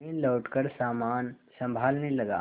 मैं लौटकर सामान सँभालने लगा